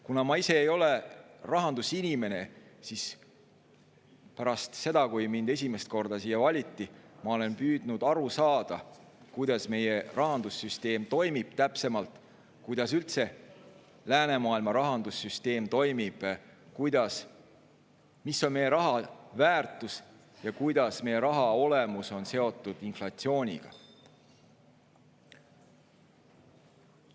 Kuna ma ise ei ole rahandusinimene, siis pärast seda, kui mind esimest korda siia valiti, olen ma püüdnud aru saada, kuidas meie rahandussüsteem toimib, täpsemalt, kuidas üldse läänemaailma rahandussüsteem toimib, mis on meie raha väärtus ja kuidas meie raha olemus on seotud inflatsiooniga.